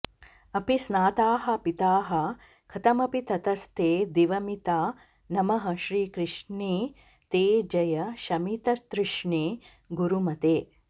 अपि स्नाताः पीताः कथमपि ततस्ते दिवमिता नमः श्रीकृष्णे ते जय शमिततृष्णे गुरुमते